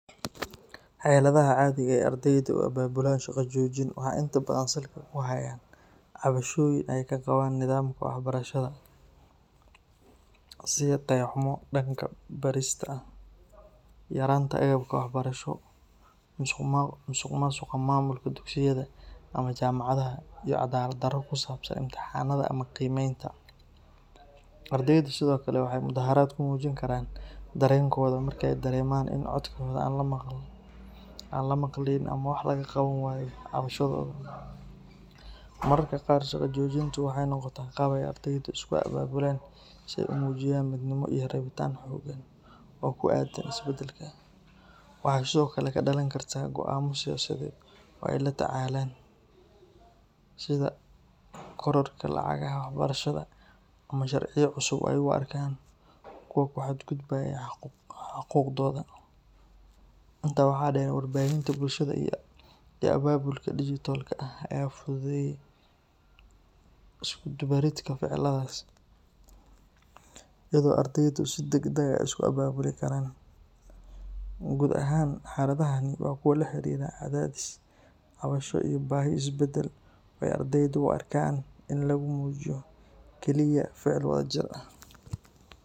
Xeladaha caadiga ah ee ardaydu u abaabulaan shaqo joojin waxay inta badan salka ku hayaan cabashooyin ay ka qabaan nidaamka waxbarashada, sida tayo xumo dhanka barista ah, yaraanta agabka waxbarasho, musuqmaasuqa maamulka dugsiyada ama jaamacadaha, iyo cadaalad darro ku saabsan imtixaanada ama qiimeynta. Ardaydu sidoo kale waxay mudaharaad ku muujin karaan dareenkooda marka ay dareemaan in codkooda aan la maqlayn ama wax laga qaban waayo cabashadooda. Mararka qaar, shaqo joojintu waxay noqotaa qaab ay ardaydu isku abaabulaan si ay u muujiyaan midnimo iyo rabitaan xooggan oo ku aaddan isbedelka. Waxay sidoo kale ka dhalan kartaa go’aamo siyaasadeed oo ay la tacaalayaan, sida kororka lacagaha waxbarashada ama sharciyo cusub oo ay u arkaan kuwa ku xadgudbaya xuquuqdooda. Intaa waxaa dheer, warbaahinta bulshada iyo abaabulka digital-ka ah ayaa fududeeyay isku dubbaridka ficiladaas iyadoo ardaydu si degdeg ah isu abaabuli karaan. Guud ahaan, xeladahani waa kuwo la xiriira cadaadis, cabasho iyo baahi isbedel oo ay ardaydu u arkaan in lagu muujiyo keliya ficil wadajir ah.